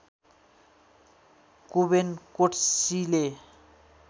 कोवेन कोट्सीले